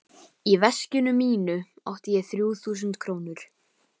Í veskinu mínu átti ég þrjú þúsund krónur.